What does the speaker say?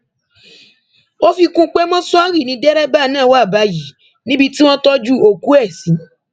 ó fi kún un pé mọṣúárì ni dẹrẹbà náà wà báyìí níbi tí wọn tọjú òkú ẹ sí